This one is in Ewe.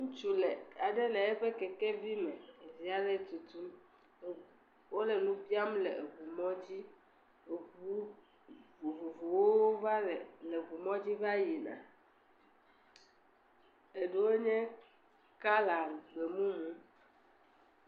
Ŋutsu le aɖe le eƒe keke vi me evelia le etutum wole nu biam le eŋu mɔ dzi, eŋu vovovowo va le..le eŋu mŋdzi va yina eɖewo nye kɔla egbe mumu.